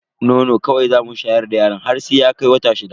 Nono kawai zamu shayar da yaron mu har sai ya kai wata shida.